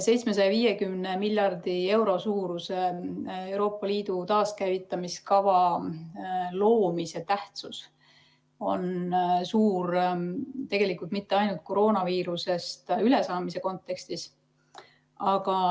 750 miljardi euro suuruse Euroopa Liidu taaskäivitamise kava loomise tähtsus on suur, tegelikult mitte ainult koroonaviirusest ülesaamise kontekstis.